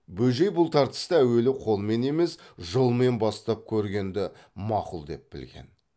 бөжей бұл тартыста әуелі қолмен емес жолмен бастап көргенді мақұл деп білген